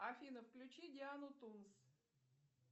афина включи диану тунс